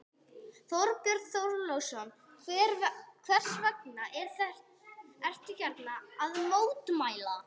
Þorbjörn Þórðarson: Hvers vegna ertu hérna að mótmæla?